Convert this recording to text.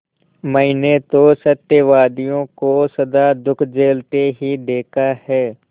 मैंने तो सत्यवादियों को सदा दुःख झेलते ही देखा है